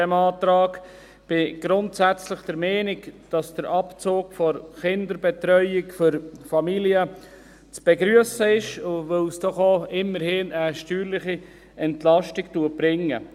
Ich bin grundsätzlich der Meinung, dass der Abzug der Kinderbetreuung für Familien zu begrüssen ist, weil es doch immerhin auch eine steuerliche Entlastung bringt.